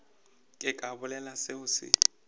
ke ka bolela seo se